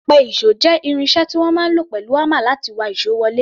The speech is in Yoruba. Apẹ-ìṣò jẹ́ irin iṣẹ́ tí wọ́n máa ń lò pẹ̀lú hámà láti wa ìṣó wọlé.